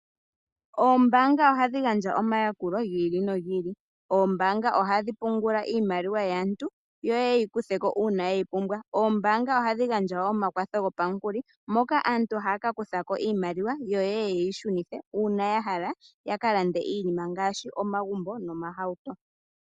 Oombanga ohadhi gandja omayakulo ga yooloka. Oombanga ohadhi pungula iimaliwa yaantu yo yeye yeyi kutheko uuna yeyi pumbwa, oombanga ohadhi gandja omakwatho gopamukuli moka aantu haya ka kuthako iimaliwa yo yeye yeyi shunithe uuna ya hala ya kalande iinima ngaashi omagumbo oohauto.